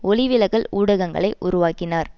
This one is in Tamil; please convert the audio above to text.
ஒளி விலகல் ஊடகங்களை உருவாக்கினார்